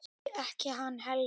Nei, ekki hann Helgi.